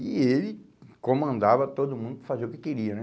E ele comandava todo mundo fazer o que queria, né?